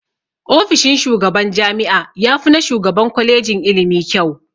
Ofishin shugaban jami'a yafi na shugaban kwalejin ilimi kyau.